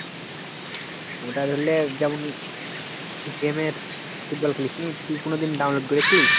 ওটা ধরলে যেমন game এর football খেলিসনি? তুই কোনোদিন download করেছিলিস?